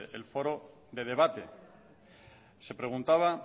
el foro de debate se preguntaba